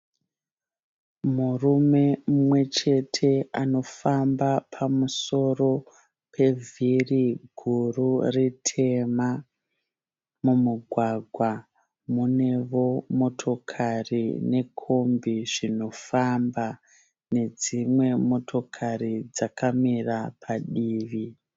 Murume umwechete anofamba pamusoro pevhiri guru ritema. Mumugwagwa muneo motokari nekombi zvinofamba nedzimwe motokari dzakamira padivi.